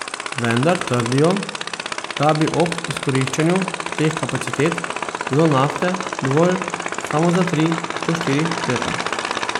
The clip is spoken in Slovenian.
Vendar trdijo, da bi ob izkoriščanju teh kapacitet bilo nafte dovolj samo za tri do štiri leta.